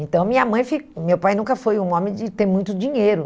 Então, minha mãe fi meu pai nunca foi um homem de ter muito dinheiro.